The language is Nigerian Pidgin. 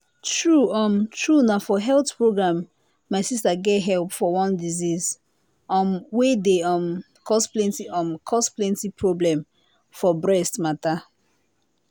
true um true na for health program my sister get help for one disease um way dey um cause plenty um cause plenty problem for breast matter.